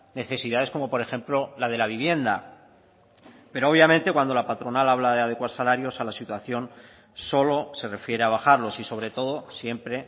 necesidades como por ejemplo la de la vivienda pero obviamente cuando la patronal habla de adecuar salarios a la situación solo se refiere a bajarlos y sobre todo siempre